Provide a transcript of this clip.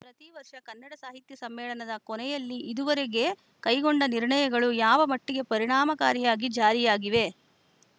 ಪ್ರತಿ ವರ್ಷ ಕನ್ನಡ ಸಾಹಿತ್ಯ ಸಮ್ಮೇಳನದ ಕೊನೆಯಲ್ಲಿ ಇದುವರೆಗೆ ಕೈಗೊಂಡ ನಿರ್ಣಯಗಳು ಯಾವ ಮಟ್ಟಿಗೆ ಪರಿಣಾಮಕಾರಿಯಾಗಿ ಜಾರಿಯಾಗಿವೆ